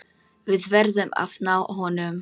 Við verðum að ná honum.